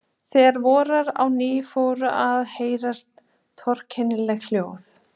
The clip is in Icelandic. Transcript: Þegar voraði á ný fóru að heyrast torkennileg hljóð.